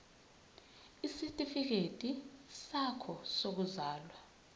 isitifikedi sakho sokuzalwa